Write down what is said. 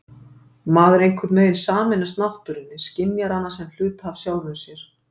Maður einhvern veginn sameinast náttúrunni, skynjar hana sem hluta af sjálfum sér.